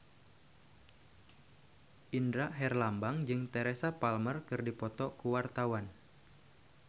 Indra Herlambang jeung Teresa Palmer keur dipoto ku wartawan